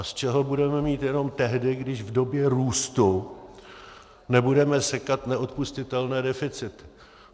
A z čeho budeme mít jenom tehdy, když v době růstu nebudeme sekat neodpustitelné deficity.